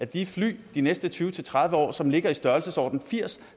de fly de næste tyve til tredive år som ligger i størrelsesordenen firs